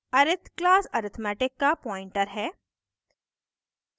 arith class arithmetic का pointer है